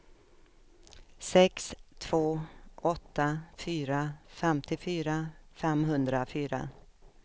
sex två åtta fyra femtiofyra femhundrafyra